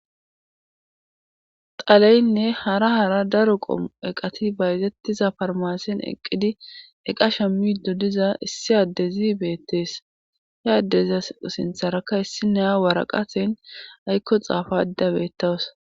xaleynne hara hara daro qomu eqati bayzettiza farmasen eqqidi eqasha middo diza issi addezi beettees he addezia sintharakka issi neya waraqaten aykko xaafada beettawus